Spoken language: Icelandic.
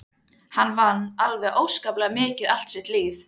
Hann vann alveg óskaplega mikið allt sitt líf.